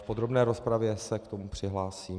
V podrobné rozpravě se k tomu přihlásím.